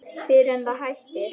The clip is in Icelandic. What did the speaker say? Fyrr en það hættir.